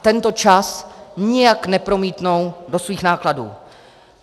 A tento čas nijak nepromítnou do svých nákladů.